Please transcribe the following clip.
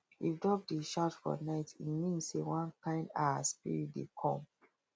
if dog dey shout for night e mean say one kind um spirit dey come